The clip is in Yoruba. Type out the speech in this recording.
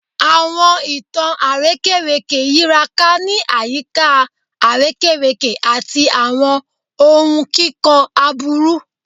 Awọn itan arekereke yiraka ni ayika arekereke ati awọn ohun kikọ aburu